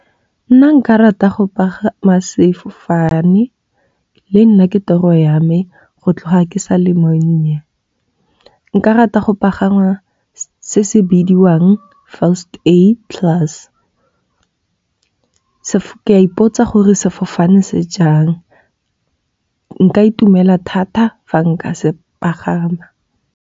Nna nka rata go pagama sefofane le nna ke toro ya me go tloga ke sa le monnye. Nka rata go pagama se se bidiwang First Aid class. Ka ipotsa gore sefofane se jang nka itumela thata fa nka se pagama.